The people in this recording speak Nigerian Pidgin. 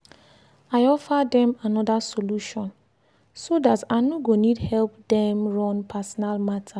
i offer dem another solution so dat i no go need help dem run personal matter.